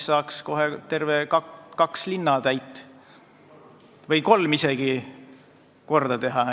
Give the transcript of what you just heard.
Saaks tervelt kaks või isegi kolm linna korda teha.